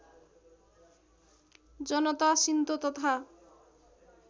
जनता Shinto तथा